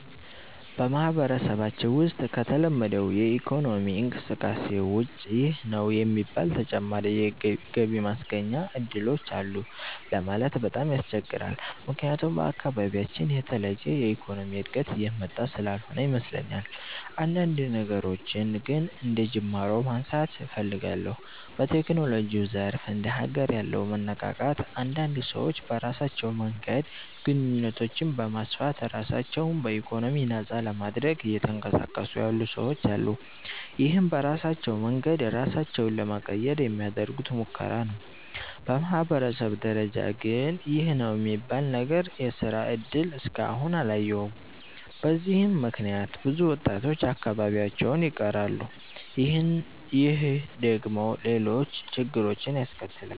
በማህበረሰባችን ውሰጥ ከተለመደው የኢኮኖሚ እንቅስቃሴ ውጭ ይህ ነው የሚባል ተጨማሪ ገቢ ማስገኛ እድሎች አሉ ለማለት በጣም ያስቸግራል። ምክያቱም በአካባቢያችን የተለየ የኢኮኖሚ እድገት እየመጣ ስላልሆነ ይመስለኛል። አንዳንድ ነገሮችን ግን አንደጅማሮ ማንሳት እፈልጋለሁ። በቴክኖሎጂው ዘርፍ እንደ ሀገር ያለው መነቃቃት አንዳንድ ሰዎች በራሳቸው መንገድ ግንኙነቶችን በማስፋት ራሳቸው በኢኮኖሚ ነፃ ለማድረግ እየተንቀሳቀሱ ያሉ ሰወች አሉ። ይህም በራሳቸው መንገድ ራሳቸውን ለመቀየር የሚያደርጉት ሙከራ ነው። በማህበረሰብ ደረጃ ግን ይህ ነው የሚባል ነገር የስራ እድል እስከ አሁን አላየሁም። በዚህም ምክንያት ብዙ ወጣቶች አካባቢያቸውን ይቀራሉ። ይህ ደግሞ ሌሎች ችግሮችን ያስከትላል።